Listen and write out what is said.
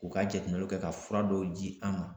U ka jateminɛw kɛ ka fura dɔw di an ma